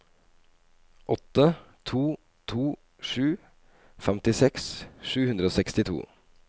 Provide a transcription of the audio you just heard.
åtte to to sju femtiseks sju hundre og sekstito